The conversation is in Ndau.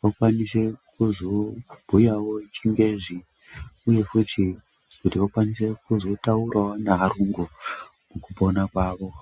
vakwanise kuzobhuyawo chingezi uye kuti vakwanise kuzobhuyawo nevarungu mukupona kwavo.